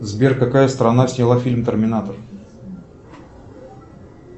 сбер какая страна сняла фильм терминатор